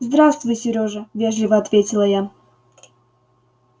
здравствуй сережа вежливо ответила я